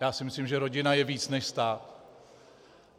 Já si myslím, že rodina je více než stát.